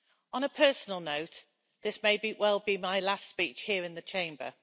On a personal note, this may well be my last speech here in the Chamber.